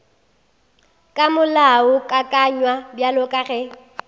ka molaokakanywa bjalo ka ge